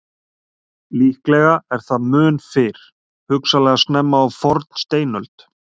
Líklega er það mun fyrr, hugsanlega snemma á fornsteinöld.